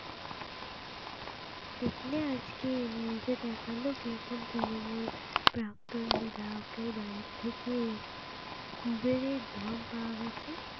দেখলে আজকে news এ দেখালো কিরকম তৃণমূল প্রাক্তন বিধায়কের বাড়ির থেকে কুবেরের ধন পাওয়া গেছে।